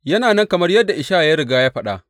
Yana nan kamar yadda Ishaya ya riga ya faɗa.